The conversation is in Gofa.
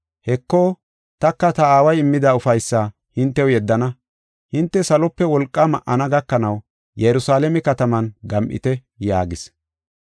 Heko, taka ta aaway immida ufaysaa hintew yeddana. Hinte salope wolqa ma7ana gakanaw Yerusalaame kataman gam7ite” yaagis.